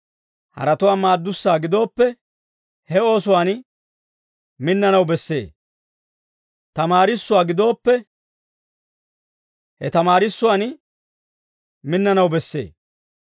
Haratuwaa maaddussaa gidooppe, he oosuwaan minnanaw bessee; tamaarissussaa gidooppe, he tamaarissuwaan minnanaw bessee.